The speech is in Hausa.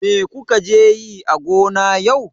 Me kuka je yi a gona yau?